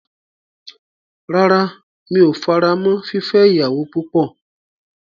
Rárá, mi o faramọ́ fífẹ́ ìyàwó púpọ̀.